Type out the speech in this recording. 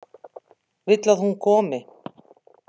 Vill að hún komi.